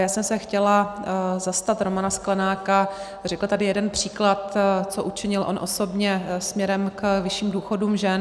Já jsem se chtěla zastat Romana Sklenáka, řekl tady jeden příklad, co učinil on osobně směrem k vyšším důchodům žen.